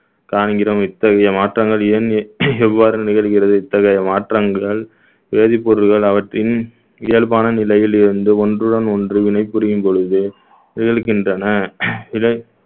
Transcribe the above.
காண்கிறோம் இத்தகைய மாற்றங்கள் ஏன் எவ்வாறு நிகழ்கிறது இத்தகைய மாற்றங்கள் வேதிப்பொருட்கள் அவற்றின் இயல்பான நிலையில் இருந்து ஒன்றுடன் ஒன்று வினைபுரியும் பொழுது நிகழ்கின்றன இதை